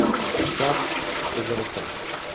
Vršac se je zavrtel.